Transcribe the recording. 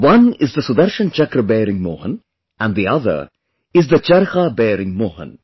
One is the Sudarshan Chakra bearing Mohan and the other is the Charkha bearing Mohan